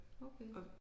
Okay